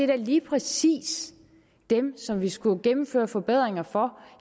da lige præcis dem som vi skulle gennemføre forbedringer for